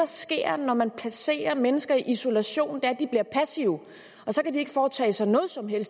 sker når man placerer mennesker i isolation er at de bliver passive så de ikke foretager sig noget som helst